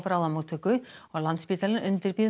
bráðamótttöku og Landspítalinn undirbýr